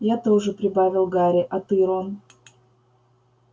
я тоже прибавил гарри а ты рон